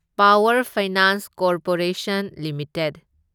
power finance corporation limited